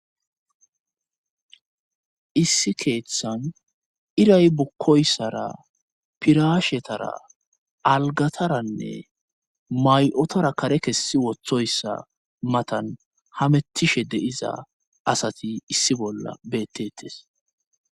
issi keeththan iray bukkoyssara piraashetara algataranne may7otara kare kessi wothoyssa matan hamettishe deiza asati issi bolla beettetes